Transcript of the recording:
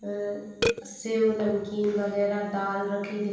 अं सयो-नमकीन वगेरा दाल रखी दिख --